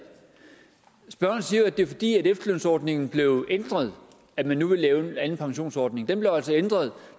spørgeren siger jo at det er fordi efterlønsordningen blev ændret at man nu vil lave en anden pensionsordning den blev altså ændret